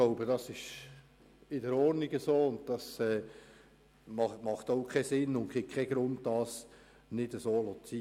Das ist in Ordnung, und es macht keinen Sinn und gibt keinen Grund, dies zu ändern.